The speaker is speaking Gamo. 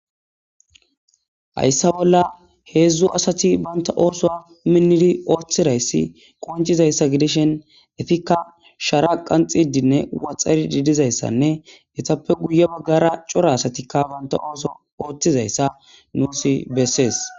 Hayssa bolla heedzdzu asati banta ooso a minnidi ooththirayssi qoncizayssa gidishen efikka shara qanxidinne waxari diidizayssanne etappe guye baggara cora asatikka banta ooso ooththizayssa nuusi bessees.